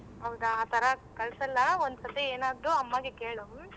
ಹೌದಾ ಆತರ ಕಳ್ಸಲ್ಲ ಒಂದ್ಸರಿ ಏನಾದ್ರು ಅಮ್ಮಗೆ ಕೇಳು ಹ್ಮ್.